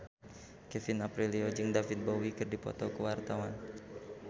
Kevin Aprilio jeung David Bowie keur dipoto ku wartawan